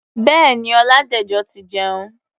Bẹ́ẹ̀ni, Ọládẹ̀jọ ti jẹun.